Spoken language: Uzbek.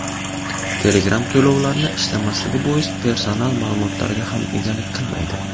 Telegram to‘lovlarni ishlamasligi bois personal ma’lumotlarga ham egalik qilmaydi.